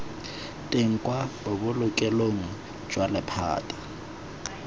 teng kwa bobolokelong jwa lephata